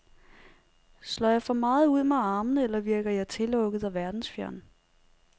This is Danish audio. Slår jeg for meget ud med armene, eller virker jeg tillukket og verdensfjern?